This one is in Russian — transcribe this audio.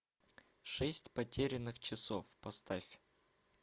шесть потерянных часов поставь